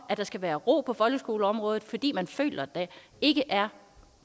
at der skal være ro på folkeskoleområdet fordi man føler at der ikke er